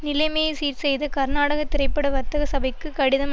நிலைமையை சீர்செய்யத கர்நாடக திரைப்பட வர்த்தக சபைக்கு கடிதம்